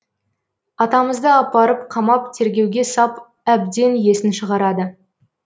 атамызды апарып қамап тергеуге сап әбден есін шығарады